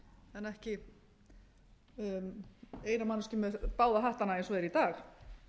en ekki eina manneskju með báða hattana eins og það er í dag